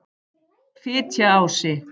Fitjaási